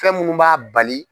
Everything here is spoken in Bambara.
Fɛn munnu b'a bali.